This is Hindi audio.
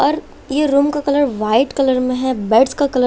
और ये रूम का कलर व्हाइट कलर में है बेड्स का कलर --